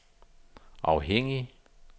afhængig